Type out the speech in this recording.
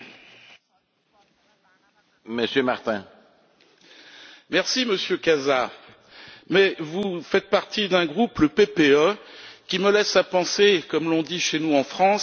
Monsieur Casa, je vous remercie mais vous faites partie d'un groupe, le PPE, qui me laisse à penser, comme l'on dit chez nous en France, que pour monter au cocotier, il faut avoir les braies propres.